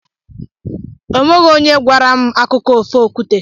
O nweghị onye gwara m akụkọ ofe okwute.